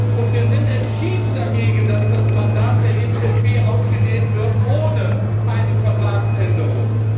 Und wir sind entschieden dagegen, dass das Mandat der EZB ausgedehnt wird ohne eine Vertragsänderung.